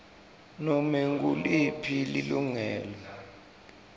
nobe nguliphi lilungelo